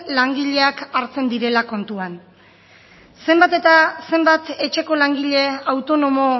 langileak hartzen direla kontuan zenbat etxeko langile autonomo